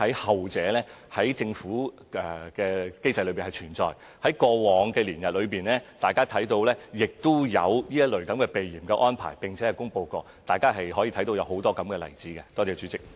後者是存在於政府的機制中，過往大家看到亦有這類避嫌的安排，並且曾經公布，大家可以看到很多這樣的例子。